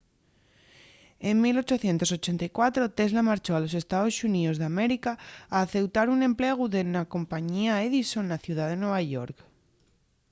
en 1884 tesla marchó a los estaos xuníos d’américa a aceutar un emplegu na compañía edison na ciudá de nueva york